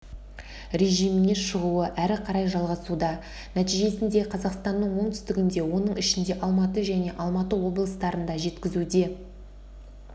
режиміне шығуы әрі қарай жалғасуда нәтижесінде қазақстанның оңтүстігінде оның ішінде алматы және алматы облыстарында жеткізуде